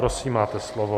Prosím, máte slovo.